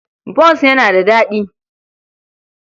Bons yana da daɗi.